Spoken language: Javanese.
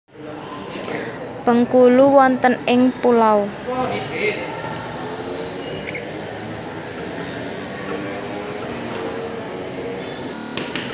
Bengkulu wonten ing pulau?